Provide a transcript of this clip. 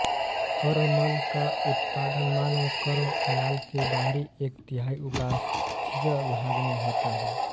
कर्णमल का उत्पादन मानव कर्ण नाल के बाहरी एक तिहाई उपास्थीय भाग में होता है